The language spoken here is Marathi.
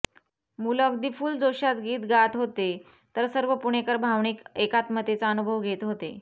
मुलं अगदी फुल जोशात गीत गात होते तर सर्वं पुणेकर भावनिक एकात्मतेचा अनुभव घेत होते